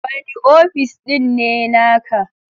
Wani ofis ɗin ne naka?